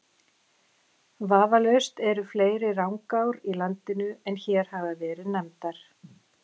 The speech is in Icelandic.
Vafalaust eru fleiri Rangár í landinu en hér hafa verið nefndar.